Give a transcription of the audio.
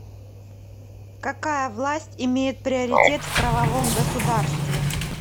какая власть имеет приоритет в правовом государстве